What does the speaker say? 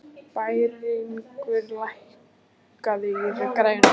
Bæringur, lækkaðu í græjunum.